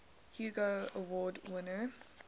hugo award winner